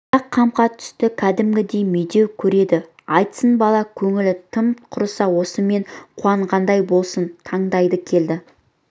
бірақ қамқа түсті кәдімгідей медеу көреді айтсын бала көңілі тым құрса сонысымен уанған болсын тыңдайды келді